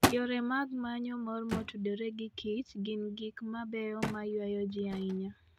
Yore mag manyo mor motudore gi kich gin gik mabeyo mayuayo ji ahinya.